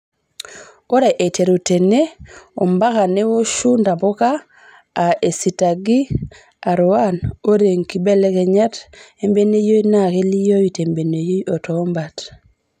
Ore aiteru tenee ompakaa newoshuu ntapukaa aa esitag ee R1,oree nkibelekenyat embeneyio naa kelioyu tembeneyio otoo mbat.